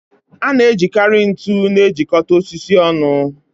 A na-ejikarị ntu na-ejikọta osisi ọnụ